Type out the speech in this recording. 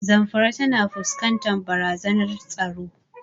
Zamfara tana fuskantar barazanar tsaro.